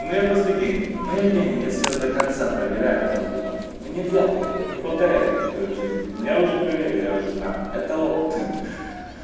ну я просто гений ну я гений я себя до конца проверяю каждый раз ну нельзя так делать не повторяйте такой жизни но я уже проверил уже знаю это опыт